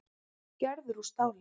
Gerður úr stáli.